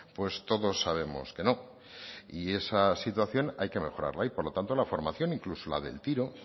pues todos sabemos que no y esa situación hay que mejorarla y por lo tanto la formación incluso la del tiro